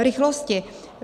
V rychlosti.